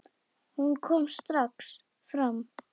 Hún kom strax fram.